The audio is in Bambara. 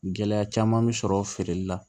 Gɛlɛya caman bɛ sɔrɔ feereli la